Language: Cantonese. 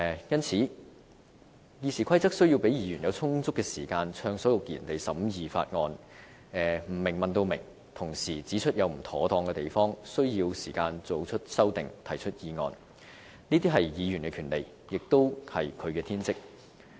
因此，《議事規則》需要給予議員充足時間暢所欲言地審議法案，不明白的便問至明白，同時指出不妥當之處，需要時間作出修訂、提出議案，這些是議員的權利，也是議員的天職。